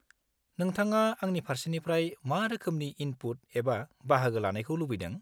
नोंथाङा आंनि फारसेनिफ्राय मा रोखोमनि इनपुट एबा बाहागो लानायखौ लुबैदों?